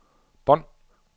bånd